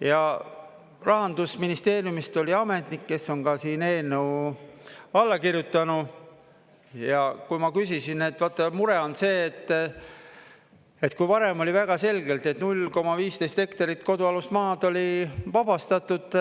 Ja Rahandusministeeriumist oli ametnik, kes on ka siin eelnõu allakirjutanu, ja kui ma küsisin, et vaata, mure on see, et kui varem oli väga selgelt, et 0,15 hektarit kodualust maad oli vabastatud,